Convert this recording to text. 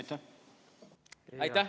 Aitäh!